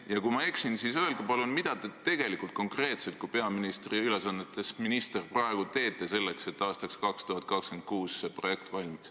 Ja kui ma eksin, siis öelge palun, mida te konkreetselt kui peaministri ülesannetes minister praegu teete selleks, et aastaks 2026 see projekt valmiks.